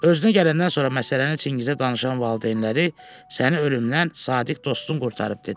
Özünə gələndən sonra məsələni Çingizə danışan valideynləri səni ölümdən sadiq dostun qurtarıb, dedilər.